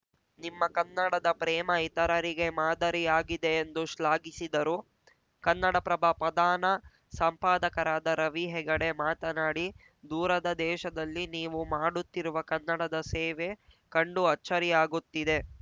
ನಿಮ್ಮ ಕನ್ನಡದ ಪ್ರೇಮ ಇತರರಿಗೆ ಮಾದರಿಯಾಗಿದೆ ಎಂದು ಶ್ಲಾಘಿಸಿದರು ಕನ್ನಡಪ್ರಭ ಪಧಾನ ಸಂಪಾದಕರಾದ ರವಿ ಹೆಗಡೆ ಮಾತನಾಡಿ ದೂರದ ದೇಶದಲ್ಲಿ ನೀವು ಮಾಡುತ್ತಿರುವ ಕನ್ನಡದ ಸೇವೆ ಕಂಡು ಅಚ್ಚರಿಯಾಗುತ್ತಿದೆ